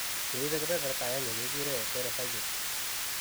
Cheibe keberta agenge kekure heterozygotes.